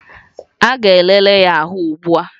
A ga-elele ya ahụ ugbua